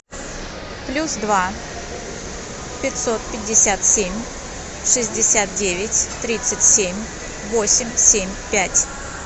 плюс два пятьсот пятьдесят семь шестьдесят девять тридцать семь восемь семь пять